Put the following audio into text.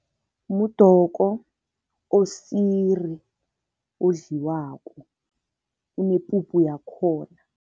Mudoko osiri odliwako, unepuphu yakhona.